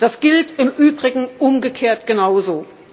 Das gilt im Übrigen umgekehrt genauso.